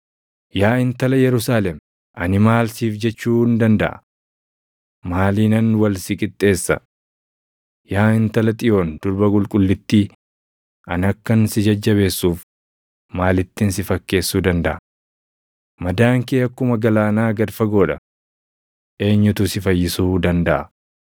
Yaa intala Yerusaalem, ani maal siif jechuun dandaʼa? Maaliinan wal si qixxeessa? Yaa Intala Xiyoon durba qulqullittii ani akkan si jajjabeessuuf maalittin si fakkeessuu dandaʼa? Madaan kee akkuma galaanaa gad fagoo dha. Eenyutu si fayyisuu dandaʼa?